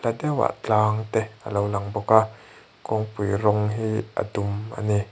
tlang te a lo lang bawk a kawngpui rawng hi a dum a ni.